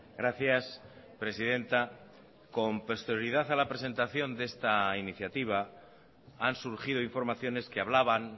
gracias presidenta con posterioridad a la presentación de esta iniciativa han surgido informaciones que hablaban